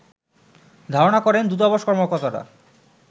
ধারনা করেন দূতাবাস কর্মকর্তারা